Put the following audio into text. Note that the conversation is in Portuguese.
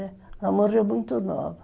Ela morreu muito nova.